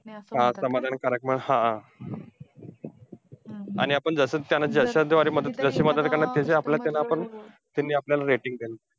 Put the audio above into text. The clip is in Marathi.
हा समाधानकारक हा. आणि आपण त्यांना जशाद्वारे मदत जशी मदत करणार त्यांची आपल्याला त्यांना आपण, त्यांनी आपल्याला rating द्यावी.